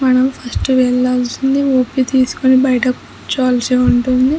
మనం ఫస్ట్ వేలాల్సింది ఓ.పి తీస్కొని బైట కూర్చొవాలిసి ఉంటుంది.